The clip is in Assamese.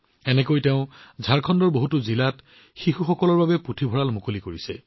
ইয়াৰ দ্বাৰা তেওঁ ঝাৰখণ্ডৰ বহুতো জিলাত শিশুসকলৰ বাবে পুথিভঁৰাল মুকলি কৰিছে